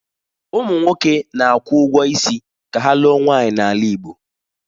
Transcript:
Ụmụ nwoke na-akwụ ụgwọ isi ka ha lụọ nwaanyị n'ala Igbo.